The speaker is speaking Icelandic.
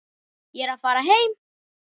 Ég er að fara heim.